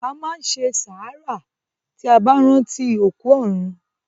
A máá n se sàárà tí a báá ránti òkú òrun.